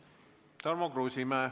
Tarmo Kruusimäe.